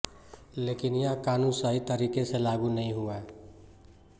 लेकिन यह कानून सही तरीके से लागू नहीं हुआ